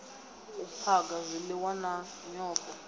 u phaga zwiliwa na nyofho